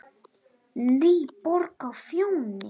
NÝBORG Á FJÓNI,